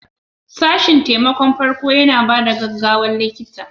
Sashen taimakon farko yana ba da gaggawar likita.